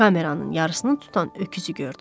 Kameranın yarısını tutan öküzü gördü.